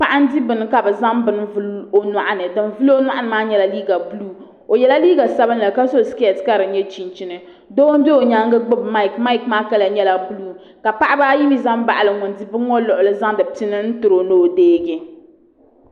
Paɣa n di bini ka bi zaŋ bini n vuli o nyoɣani din vuli o nyoɣani maa nyɛla liiga buluu o yɛla liiga sabinli ka so skɛt ka di nyɛ chinchini doo n ʒɛ o nyaangi ka gbubi maik maik maa kala nyɛla buluu ka paɣaba ayi mii ʒɛ n baɣali ŋun di bini maa n zaŋdi pini tiro ni o deegi